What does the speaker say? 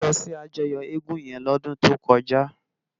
Tola lò si àjòyò égùn yèn lòdùn tókòjá